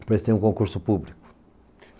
Eles têm um concurso público.